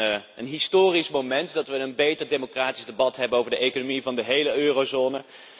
Het is een historisch moment dat we een echt democratisch debat hebben over de economie van de hele eurozone.